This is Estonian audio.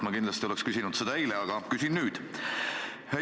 Ma kindlasti oleks küsinud seda eile, aga küsin nüüd.